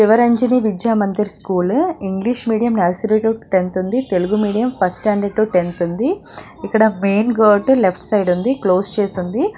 Sivaranjani Vidya Mandir school English medium nursery to tenth ఉంది Telugu medium first standard to tenth ఉంది ఇక్కడ main gate left side ఉంది close చేసి ఉంది.